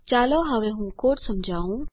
ચાલો હવે હું કોડ સમજાવું